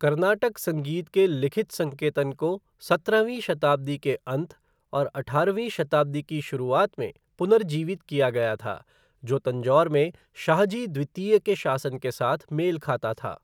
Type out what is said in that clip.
कर्नाटक संगीत के लिखित संकेतन को सत्रहवीं शताब्दी के अंत और अठारहवीं शताब्दी की शुरुआत में पुनर्जीवित किया गया था, जो तंजौर में शाहजी द्वितीय के शासन के साथ मेल खाता था।